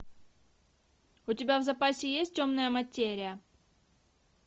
у тебя в запасе есть темная материя